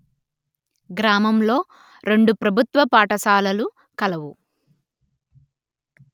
గ్రామములో రెండు ప్రభుత్వ పాఠశాలలు కలవు